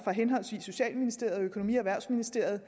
henholdsvis socialministeriet og økonomi og erhvervsministeriet